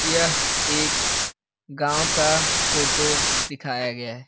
यह एक गांव का फोटो दिखाया गया है।